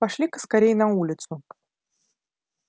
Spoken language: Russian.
пошли-ка скорей на улицу